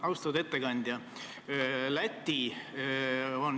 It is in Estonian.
Austatud ettekandja!